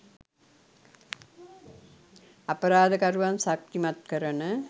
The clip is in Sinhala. අපරාධකරුවන් ශක්තිමත් කරන